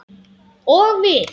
Og við?